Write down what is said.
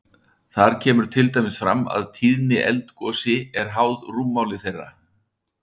Þar kemur til dæmis fram að tíðni eldgosi er háð rúmmáli þeirra.